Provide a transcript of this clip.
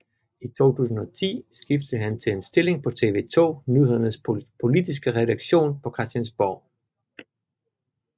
I 2010 skiftede han til en stilling på TV 2 Nyhedernes politiske redaktion på Christiansborg